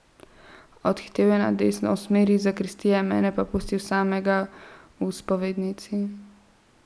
Odhitel je na desno, v smeri zakristije, mene pa pustil samega v spovednici.